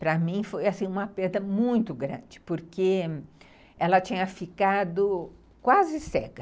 Para mim foi uma perda muito grande, porque ela tinha ficado quase cega.